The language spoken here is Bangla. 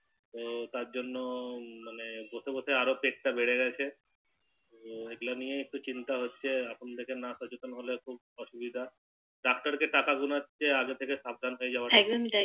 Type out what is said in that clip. তো তারজন্য মানে বোসে বোসে আরো পেট টাও বেড়ে গেছে তো এগুলো নিয়ে একটু চিন্তা হচ্ছে এখন থেকে না কম করলে খুব অসুবিধা Doctor কে টাকা গুনার চেয়ে আগে থেকে সাবধান হয়ে যাওয়া ভালো